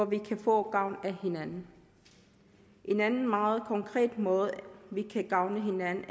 vi kan få gavn af hinanden en anden meget konkret måde vi kan gavne hinanden